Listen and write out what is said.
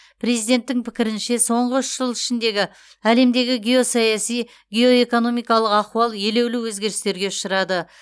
президенттің пікірінше соңғы үш жыл ішіндегі әлемдегі геосаяси геоэкономикалық ахуал елеулі өзгерістерге ұшырады